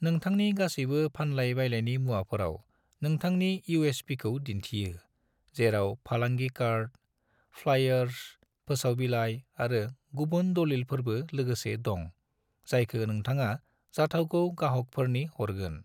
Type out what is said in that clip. नोंथांनि गासैबो फानलाय-बायलायनि मुवाफोराव नोंथांनि यूएसपीखौ दिन्थियो, जेराव फालांगि कार्ड, फ्लायर्स, फोसाव बिलाय, आरो गुबुन दलिलफोरबो लोगोसे दं, जायखो नोंथाङा जाथावगौ गाहकफोरनि हरगोन।